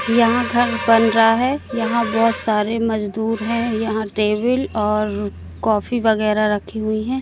यहां घर बन रहा है यहां बहोत सारे मजदूर हैं यहां टेबिल और कॉफी वगैरा रखी हुई है।